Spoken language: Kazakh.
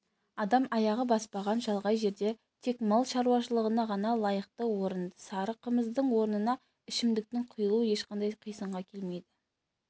адам аяғы баспаған шалғай жерде тек мал шаруашылығына ғана лайықты орында сары қымыздың орнына ішімдіктің құйылуы ешқандай қисынға келмейді